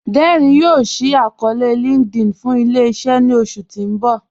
Dẹ́rín yoo ṣí àkọọ̀lẹ̀ linkedIn fún ilẹ̀-iṣẹ̀ ní oṣù tí n bọ̀.